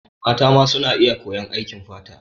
Mata ma suna iya koyan aikin fata.